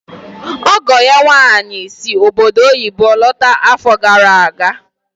Ọgọ ya nwaanyị si obodo oyibo lọta afọ gara aga.